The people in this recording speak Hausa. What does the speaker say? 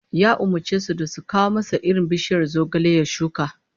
Ya umurce su da su kawo masa irin bishiyar zogale ya shuka